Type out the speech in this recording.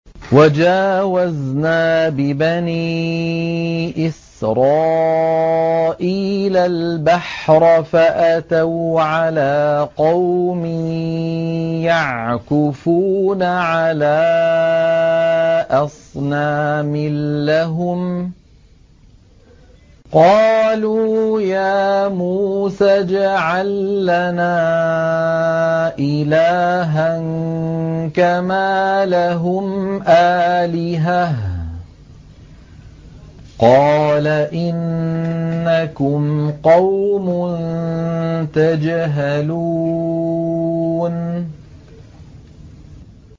وَجَاوَزْنَا بِبَنِي إِسْرَائِيلَ الْبَحْرَ فَأَتَوْا عَلَىٰ قَوْمٍ يَعْكُفُونَ عَلَىٰ أَصْنَامٍ لَّهُمْ ۚ قَالُوا يَا مُوسَى اجْعَل لَّنَا إِلَٰهًا كَمَا لَهُمْ آلِهَةٌ ۚ قَالَ إِنَّكُمْ قَوْمٌ تَجْهَلُونَ